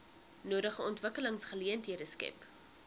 nodige ontwikkelingsgeleenthede skep